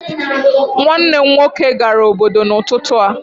Nwanne m nwoke gara obodo n'ụtụtụ a